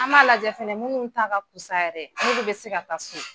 An m'a lajɛ fɛnɛ munnu ta ka fusa yɛrɛ n'olu be se ka taa so.